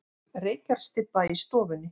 Reykjarstybba í stofunni.